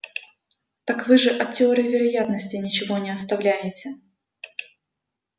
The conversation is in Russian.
так вы же от теории вероятности ничего не оставляете